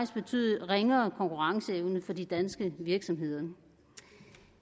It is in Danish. betyde ringere konkurrenceevne for de danske virksomheder